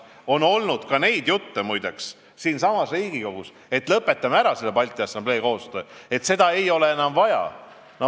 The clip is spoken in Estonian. On olnud ka neid jutte, muide, siinsamas Riigikogus, et lõpetame selle Balti Assamblee koostöö ära, seda ei ole enam vaja.